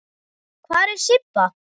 Hvar er Sibba?